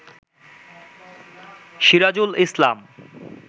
Sirajul Islam